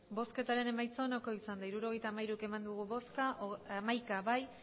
botoak hirurogeita hamairu bai hamaika ez